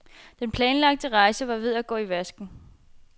Den planlagte rejse var ved at gå i vasken.